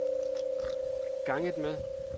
ganget med